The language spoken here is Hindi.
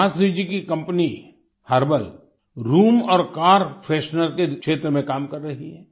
सुभाश्री जी की कंपनी हर्बल रूम और कार फ्रेशनर के क्षेत्र में काम कर रही है